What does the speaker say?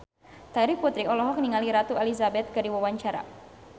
Terry Putri olohok ningali Ratu Elizabeth keur diwawancara